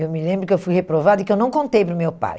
Eu me lembro que eu fui reprovada e que eu não contei para o meu pai.